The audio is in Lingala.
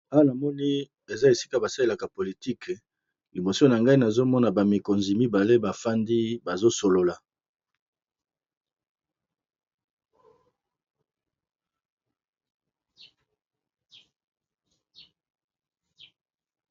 Awa namoni eza esika basalelaka politike liboso na ngai nazomona ba mikonzi mibale bafandi bazo solola.